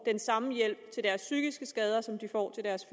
den samme hjælp til deres psykiske skader som de får til deres